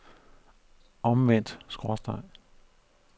omvendt skråstreg